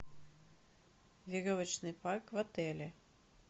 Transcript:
веревочный парк в отеле